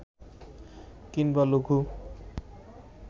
কিংবা লঘু